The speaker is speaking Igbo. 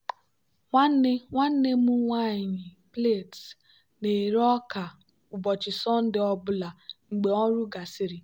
nwanne nwanne m nwanyị plaits na-eri ọka ụbọchị sọnde ọ bụla mgbe ọrụ gasịrị.